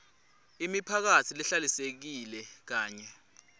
imiphakatsi lehlalisekile kanye